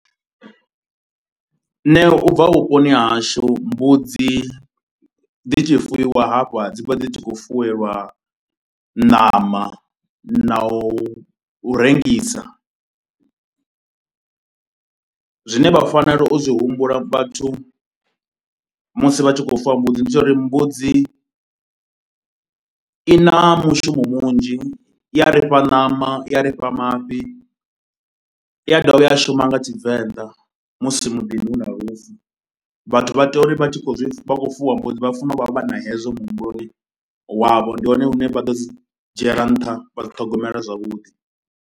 Nṋe u bva vhuponi ha hashu mbudzi dzi tshi fuwiwa hafha dzi vha dzi tshi khou fuwelwa ṋama na u rengisa, zwine vha fanela u zwi humbula vhathu musi vha tshi khou fuwa mbudzi, ndi zwa uri mbudzi i na mushumo munzhi i ya ri fha ṋama, i ya ri fha mafhi. I a dovha ya shuma nga Tshivenḓa musi muḓini hu na lufu, vhathu vha tea uri vha tshi khou zwi vha khou fuwa mbudzi vha fanela u vha vha na hezwo muhumbuloni wavho, ndi hone hune vha ḓo zwi dzhiela nṱha vha zwi ṱhogomela zwavhuḓi.